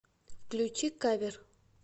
включи кавер